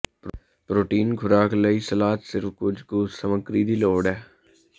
protein ਖੁਰਾਕ ਲਈ salad ਸਿਰਫ ਕੁਝ ਕੁ ਸਮੱਗਰੀ ਦੀ ਲੋੜ ਹੈ